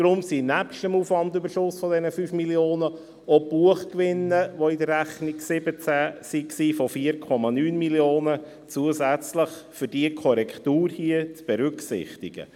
Deshalb sind nebst dem Aufwandüberschuss dieser 5 Mio. Franken auch Buchgewinne von 4,9 Mio. Franken, die in der Rechnung 2017 waren, zusätzlich für diese Korrektur hier zu berücksichtigen.